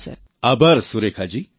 thank you Surekha G